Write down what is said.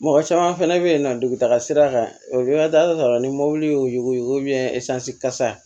Mɔgɔ caman fɛnɛ be yen nɔ dugu taga sira kan ni mobili y'o yuguyugu kasa